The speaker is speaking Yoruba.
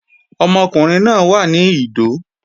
Ọmọkùnrin náà wà ní Ìdó